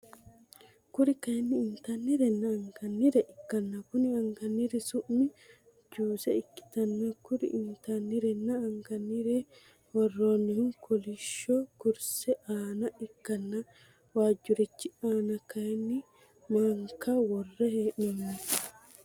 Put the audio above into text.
Kuri kaayiini inttanirena anganire ikkana konni anganiri su'mi juuse ikkitanna kuri inttanirena anganire woroonihu kolishsho kursse aana ikkanna wajjurichi ana kaayiini maankka worre henooni